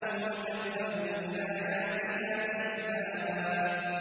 وَكَذَّبُوا بِآيَاتِنَا كِذَّابًا